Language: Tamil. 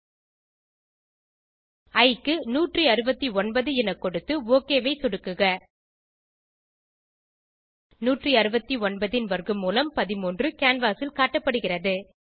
இ க்கு 169 என கொடுத்து ஒக் ஐ சொடுக்குக 169 ன் வர்க்க மூலம் 13 canvasல் காட்டப்படுகிறது